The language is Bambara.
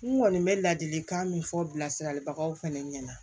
N kɔni bɛ ladilikan min fɔ bilasiralibagaw fɛnɛ ɲɛna